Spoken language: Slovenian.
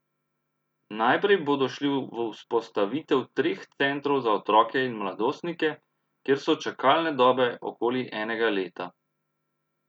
Najprej bodo šli v vzpostavitev treh centrov za otroke in mladostnike, kjer so čakalne dobe okoli enega leta.